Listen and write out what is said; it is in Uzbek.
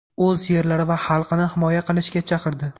o‘z yerlari va xalqini himoya qilishga chaqirdi.